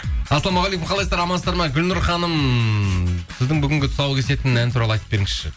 ассалаумағалейкум қалайсыздар амансыздар ма гүлнұр ханым сіздің бүгінгі тұсау кесетін ән туралы айтып беріңізші